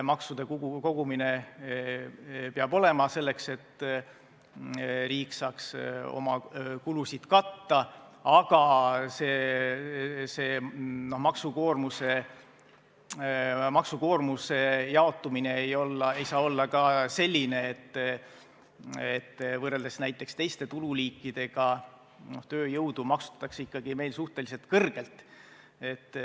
Maksude kogumine peab olema – selleks, et riik saaks oma kulusid katta –, aga maksukoormuse jaotumine ei saa olla ka selline, et võrreldes näiteks teiste tululiikidega maksustatakse tööjõudu ikkagi suhteliselt kõrgelt.